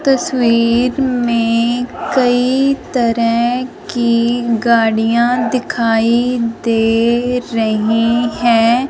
तस्वीर में कई तरह की गाड़ियां दिखाई दे रही हैं।